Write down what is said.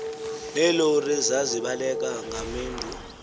neelori zazibaleka ngamendu